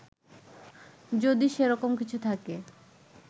যদি সে রকম কিছু থাকে